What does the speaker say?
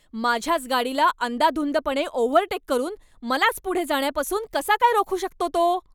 माझ्याच गाडीला अंदाधुंदपणे ओव्हरटेक करून मलाच पुढे जाण्यापासून कसा काय रोखू शकतो तो?